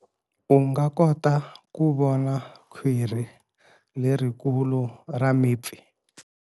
U nga kota ku vona khwiri lerikulu ra mipfi.